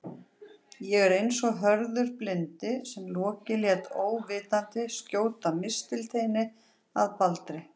Ég er eins og Höður blindi sem Loki lét óvitandi skjóta mistilteini að Baldri.